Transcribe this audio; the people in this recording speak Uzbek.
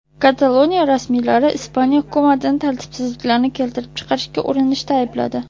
Kataloniya rasmiylari Ispaniya hukumatini tartibsizliklarni keltirib chiqarishga urinishda aybladi.